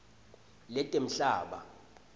letemhlaba